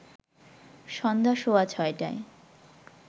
সন্ধ্যা সোয়া ৬টায়